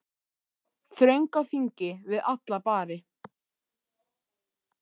Þröng á þingi við alla bari.